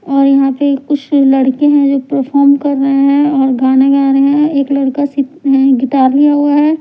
और यहां पे कुछ लड़के हैं जो परफॉर्म कर रहे हैं और गाना गा रहे है एक लड़का सी गिटार बजा रहा है ।